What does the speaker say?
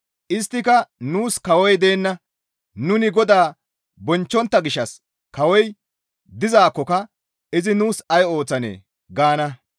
Isttika, «Nuus kawoy deenna; nuni GODAA bonchchontta gishshas kawoy dizaakkoka izi nuus ay ooththanee?» gaana.